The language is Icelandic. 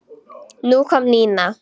Nú kom Nína.